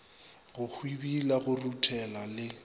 go hwibila go ruthela le